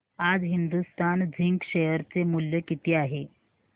आज Hindustan zinc share चे मूल्य किती आहे